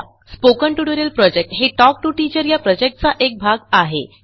spoken tutorial project हे talk to teacher या प्रॉजेक्टचा एक भाग आहे